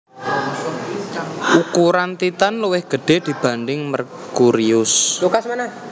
Ukuran Titan luwih gede dibanding Merkurius